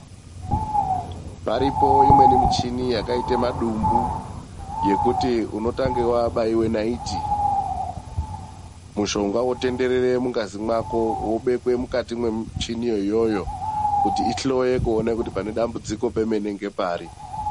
Paripo imweni michini yakaita madumbu yekuti unotanga wabaiwe naiti mushonga wobekwe mungazi mwako wobekwe mumuchiniyo iyoyo kuti itange kuhloya kuti pane dambudziko ngepari.